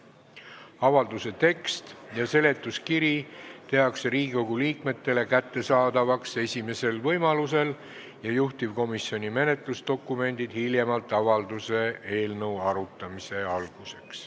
Avalduse tekst ja seletuskiri tehakse Riigikogu liikmetele kättesaadavaks esimesel võimalusel ja juhtivkomisjoni menetlusdokumendid hiljemalt avalduse eelnõu arutamise alguseks.